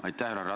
Aitäh!